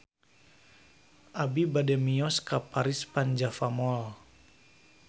Abi bade mios ka Paris van Java Mall